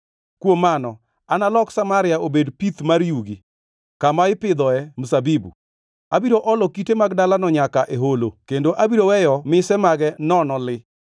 “Kuom mano analok Samaria obed pith mar yugi, kama ipidhoe mzabibu. Abiro olo kite mag dalano nyaka e holo kendo abiro weyo mise mage nono li.